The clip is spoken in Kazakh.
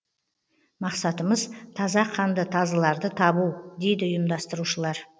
мақсатымыз таза қанды тазыларды табу дейді ұйымдастырушылар